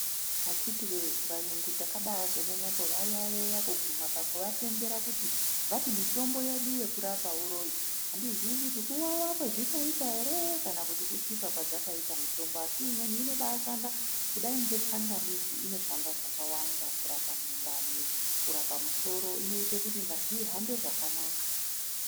Akhiti voye vayungu takabazonyanya kuvayaiya kuguma pakuvatendera pakuti vati mitombo yedu yekurapa uroi. Handizivi kuti kuvava kwazvinoita ere kana kuti kusvipa kwadzakaita mitombo. Asi imweni inobashanda kudai ngetsangamidzi inoshanda zvakawanda kurapa mundani, kurapa musoro inoite kuti ngazi ihambe zvakanaka.